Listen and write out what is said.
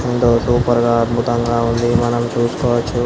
ఎంతో సూపెర్గా అద్భుతంగా ఉంది మనం చూసుకోవొచ్చు.